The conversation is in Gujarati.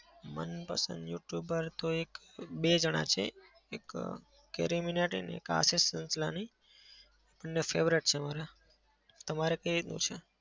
મનપસંદ youtuber તો એક-બે જણા છે. એક અમ કેરી મીનાટી અને એક આશિષ ચંચલાની બંને favorite છે મારા. તમારે કઈ રીતનું છે?